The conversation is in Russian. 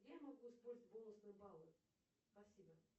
где я могу использовать бонусные баллы спасибо